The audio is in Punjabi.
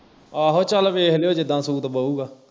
ਆਹੋ ਚੱਲ ਵੇਖ ਲਿਉ ਜਿੱਦਾ ਸੂਤ ਪਊਗਾ